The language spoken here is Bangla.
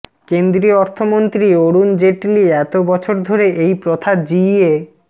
কেন্দ্রীয় অর্থমন্ত্রী অরুণ জেটলি এত বছর ধরে এই প্রথা জিইয়ে